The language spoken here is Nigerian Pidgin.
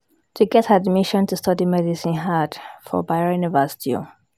to get admission to study medicine hard for Bayero University o